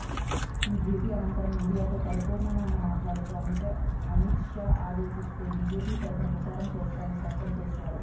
ఈ భేటీ అనంతరం మీడియాతో పరిపూర్ణానంద మాట్లాడుతూ అమిత్ షా ఆదేశిస్తే బీజేపీ తరఫున ప్రచారం చేస్తానని స్పష్టం చేశారు